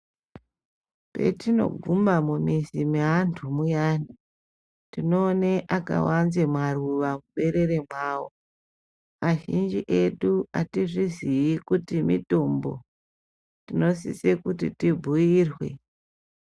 Petinoguma mumizi meantu muyana, tinoone akawanze maruva muberere mwavo, azhinji edu hatizvizii kuti mitombo, tinosiso kuti tibhuirwe.